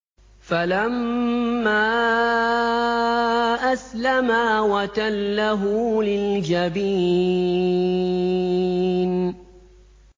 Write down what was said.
فَلَمَّا أَسْلَمَا وَتَلَّهُ لِلْجَبِينِ